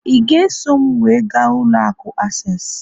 ị ga-eso m wee gaa ụlọ akụ access?